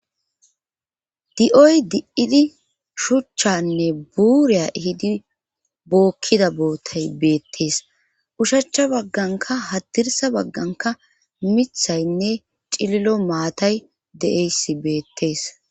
di7oy di7idi shuchchanne buuriya hidi bookkida bootay beettees ushacha bagganka hadirsa bagganka mithaynne cililo maatay de7eyssi beettees.